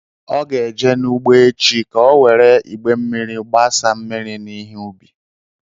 Ọ ga-aga n’ugbo echi ka ọ were igbé mmiri gbásá mmiri n'ihe ubi